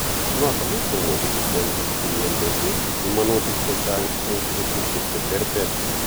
Kou notok komuchi kokon biik chemyandos pimanutik chechang' eng' betusiek cheterter